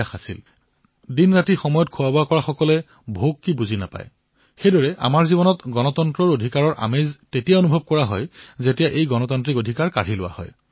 দিনেৰাতিয়ে যেতিয়া সময়মতে খাদ্য গ্ৰহণ কৰা হয় তেতিয়া যেনেকৈ ভোক কি সেই বিষয়ে গম পোৱা নাযায় ঠিক সেইদৰে সাধাৰণ জীৱনত গণতন্ত্ৰ অধিকাৰৰ কি মজা সেয়া তেতিয়াহে গম পোৱা যায় যেতিয়া তাক কাঢ়ি লোৱা হয়